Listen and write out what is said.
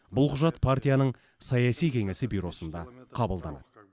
бұл құжат партияның саяси кеңесі бюросында қабылданады